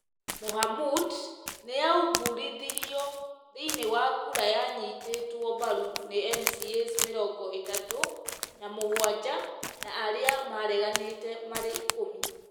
Mohamud nĩ aumbũrithirio thĩinĩ wa kũra yanyitĩtwo mbaru nĩ MCAs mĩrongo ĩtatũ na mũgwanja na aria mareganĩtĩ marĩ ikũmi.